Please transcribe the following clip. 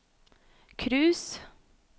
cruise